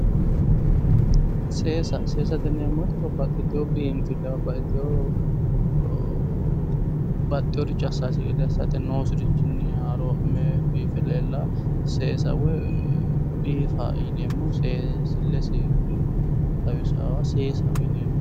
Seesa, seesate yinneemmo woyte babbaxitino biinfele babbaxiteyo baxxeyore assasi gede assanosirichinni biife leellano seesa woyi biifa yinneemmo, seensilesi xawisanoha seessaho yinneemmo